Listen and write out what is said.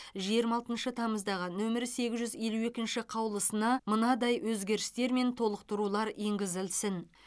жиырма алтыншы тамыздағы нөмірі сегіз жүз елу екінші қаулысына мынадай өзгерістер мен толықтырулар енгізілсін